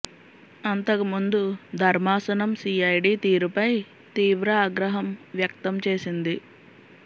అంతకు ముందు ధర్మాసనం సీఐడీ తీరుపై తీవ్ర ఆగ్రహం వ్యక్తం చేసింది